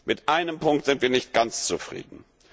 Mit einem Punkt sind wir nicht ganz zufrieden.